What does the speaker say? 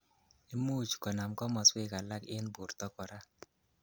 Imuch konam komoswek alak en borto kora.